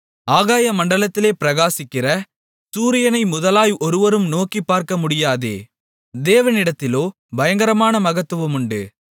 ஆகாயமண்டலத்திலே பிரகாசிக்கிற சூரியனை முதலாய் ஒருவரும் நோக்கிப் பார்க்கமுடியாதே தேவனிடத்திலோ பயங்கரமான மகத்துவமுண்டு